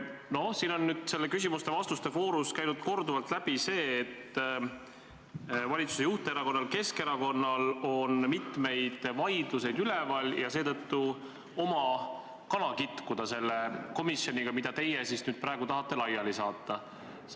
No siin on nüüd küsimuste-vastuste voorus korduvalt läbi käinud, et valitsuse juhterakonnal ehk Keskerakonnal on mitu vaidlust üleval ja seetõttu oma kana kitkuda selle komisjoniga, mida teie praegu tahate laiali saata.